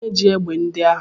Kedụ onye ji egbe ndị ahụ?